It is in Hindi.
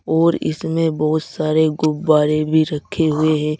और इसमें बहुत सारे गुब्बारे भी रखे हुए हैं।